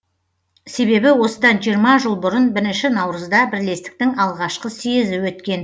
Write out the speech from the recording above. себебі осыдан жиырма жыл бұрын бірінші наурызда бірлестіктің алғашқы съезі өткен